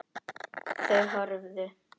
Þau horfðu.